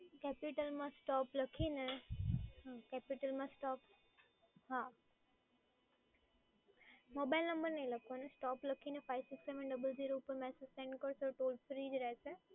capital માં stop લખીને, હા capital માં stop હા, મોબાઇલ નંબર નઈ લખવાનો, stop લખીને five six seven double zero પર મેસેજ સેન્ડ કરી કરશો તો ફ્રી જ રહેશે.